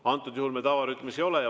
Antud juhul me tavarütmis ei ole.